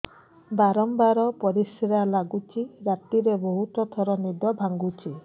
ବାରମ୍ବାର ପରିଶ୍ରା ଲାଗୁଚି ରାତିରେ ବହୁତ ଥର ନିଦ ଭାଙ୍ଗୁଛି